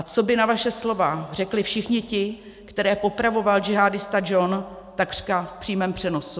A co by na vaše slova řekli všichni ti, které popravoval džihádista John takřka v přímém přenosu?